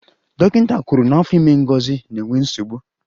Dọkịta kwuru na afọ ime Ngozi na-enwe nsogbu